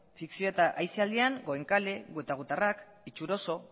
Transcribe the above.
fikzio eta aisialdian goenkale gu eta gutarrak itxuroso